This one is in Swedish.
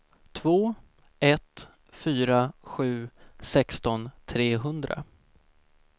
två ett fyra sju sexton trehundra